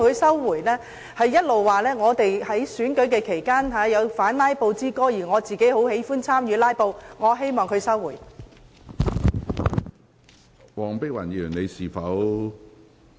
她指我們在選舉期間發表"反'拉布'之歌"，但卻很喜歡參與"拉布"，我希望她收回有關言論。